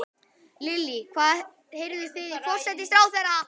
Lillý: Heyrðuð þið í forsætisráðherra?